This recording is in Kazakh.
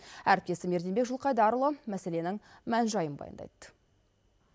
әріптесім ерденбек жылдқайдарұлы мәселенің мән жайын баяндайды